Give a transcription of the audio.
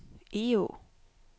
Egå